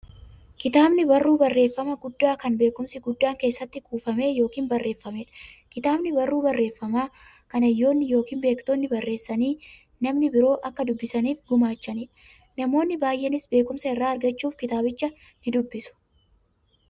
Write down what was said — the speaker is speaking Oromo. Kitaabni barruu barreeffamaa guddaa, kan beekumsi guddaan keessatti kuufame yookiin barreefameedha. Kitaabni barruu barreeffamaa, kan hayyoonni yookiin beektonni barreessanii, namni biroo akka dubbisaniif gumaachaniidha. Namoonni baay'eenis beekumsa irraa argachuuf kitaabicha nidubbisu.